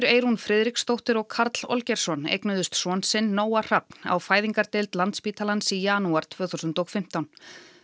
Eyrún Friðriksdóttir og Karl Olgeirsson eignuðust son sinn Nóa Hrafn á fæðingardeild Landspítalans í janúar tvö þúsund og fimmtán